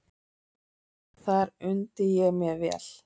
Þar undi ég mér vel.